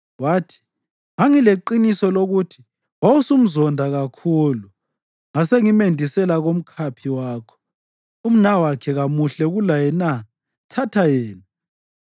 Wathi, “Ngangileqiniso lokuthi wawusumzonda kakhulu, ngasengimendisela kumkhaphi wakho. Umnawakhe kamuhle kulaye na? Thatha yena.”